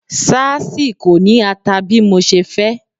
Sáásì kò ní ata bí mo ṣe fẹ́.